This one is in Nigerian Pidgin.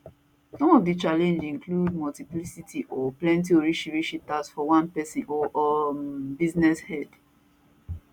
some of di challenge include multiplicity or plenty orishirishi tax for one pesin or um business head